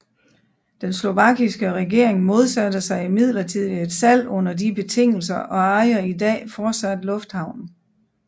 Den slovakiske regering modsatte sig imidlertid et salg under de betingelser og ejer i dag fortsat lufthavnen